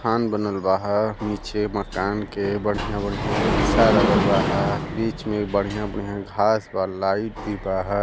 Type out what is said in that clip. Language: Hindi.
मकान बनल बाह। नीचे मकान के बढ़िया-बढ़िया शीशा लागल बाह। बीच में बढ़िया-बढ़िया घास व लाइट बी बहा।